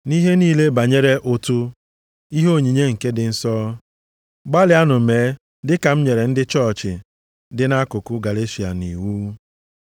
Nʼihe niile banyere ụtụ ihe onyinye nke ndị nsọ, gbalịanụ mee dịka m nyere ndị chọọchị dị nʼakụkụ Galeshịa nʼiwu.